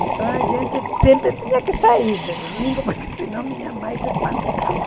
Então a gente sempre tinha que sair de domingo, porque senão minha mãe se espantava.